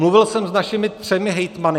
Mluvil jsem s našimi třemi hejtmany.